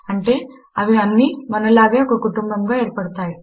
అంటే అవి అన్ని మనలాగానే ఒక కుటుంబముగా ఏర్పడతాయి